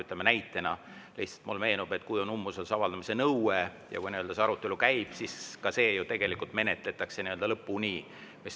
Lihtsalt näitena mulle meenub, et kui käib umbusalduse avaldamise nõude arutelu, siis ka see nõue ju menetletakse lõpuni.